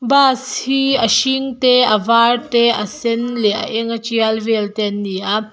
bus hi a a eng a ṭial vel te an ni a.